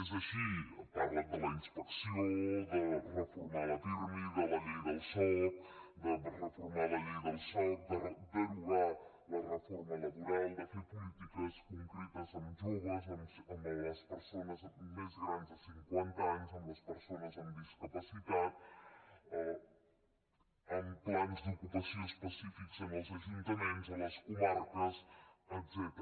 és així ha parlat de la inspecció de reformar la pirmi de la llei del soc de reformar la llei del soc de derogar la reforma laboral de fer polítiques concretes en joves amb les persones més grans de cinquanta anys amb les persones amb discapacitat amb plans d’ocupació específics en els ajuntaments a les comarques etcètera